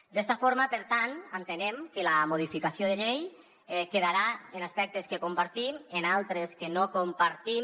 d’esta forma per tant entenem que la modificació de llei quedarà en aspectes que compartim en altres que no compartim